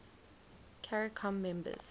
caricom members